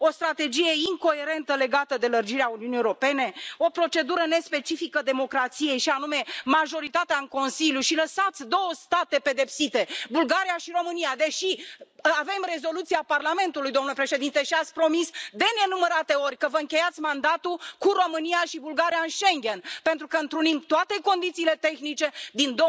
O strategie incoerentă legată de lărgirea Uniunii Europene, o procedură nespecifică democrației, și anume, majoritatea în Consiliu, și lăsați două state pedepsite Bulgaria și România deși avem rezoluția Parlamentului, domnule președinte, și ați promis de nenumărate ori că vă încheiați mandatul cu România și Bulgaria în Schengen, pentru că întrunim toate condițiile tehnice din